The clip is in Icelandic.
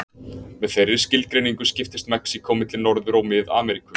Með þeirri skilgreiningu skiptist Mexíkó milli Norður- og Mið-Ameríku.